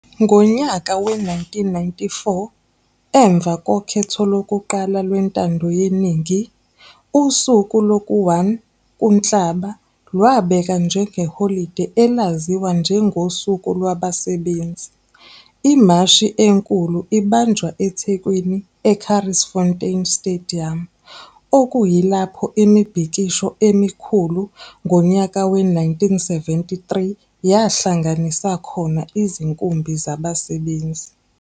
Ngonyaka we-1994 emva kokhetho lokuwqala lwentando yeningi usuku loku-1 uNhlaba labekwa njengeholide, elaziwa njengoSuku Lwabasebenzi. Imashi enkulu ibanjwa eThekwini eCurries Fountain Stadium, okuyilapho imibhikisho emikhulu ngonyaka we-1973 yahlanganaisa khona izinkumbi zabasebenzi.